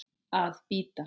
Að bíta.